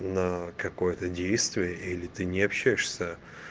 на какое-то действие или ты не общаешься